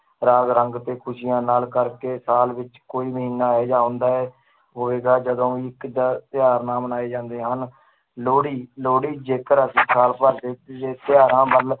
ਰਾਗ ਰੰਗ ਤੇ ਖ਼ੁਸ਼ੀਆਂ ਨਾਲ ਕਰਕੇ ਸਾਲ ਵਿੱਚ ਕੋਈ ਮਹੀਨਾ ਇਹ ਜਿਹਾ ਆਉਂਦਾ ਹੋਵੇਗਾ ਜਦੋਂ ਵੀ ਇੱਕ ਜਾਂ ਤਿਉਹਾਰ ਨਾ ਮਨਾਏ ਜਾਂਦੇ ਹਨ, ਲੋਹੜੀ ਲੋਹੜੀ ਜੇਕਰ ਅਸੀਂ ਸਾਲ ਭਰ ਦੇਖੀਏ ਤਿਉਹਾਰਾਂ ਵੱਲ